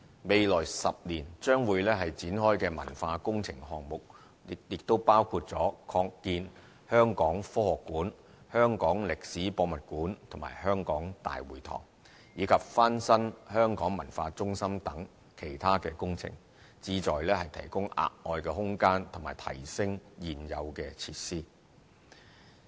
未來10年將會展開的文化工程項目，亦包括擴建香港科學館、香港歷史博物館和香港大會堂，以及翻新香港文化中心等其他工程，旨在提供額外空間及提升現有設施。